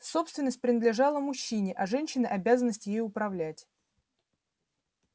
собственность принадлежала мужчине а женщине обязанность ею управлять